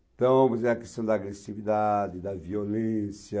Então, por exemplo, a questão da agressividade, da violência...